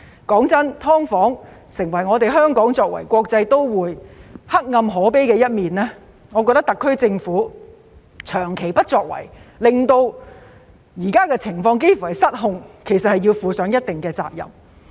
說實話，"劏房"成為香港作為國際都會黑暗可悲的一面，我覺得特區政府長期不作為，令現時的情況幾近失控，要負上一定責任。